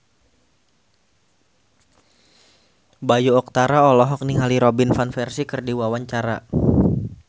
Bayu Octara olohok ningali Robin Van Persie keur diwawancara